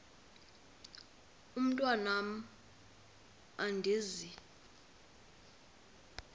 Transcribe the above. mntwan am andizi